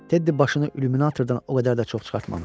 Teddy başını illyuminatordan o qədər də çox çıxartmamışdı.